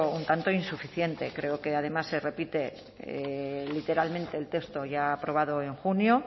un tanto insuficiente creo que además se repite literalmente el texto ya aprobado en junio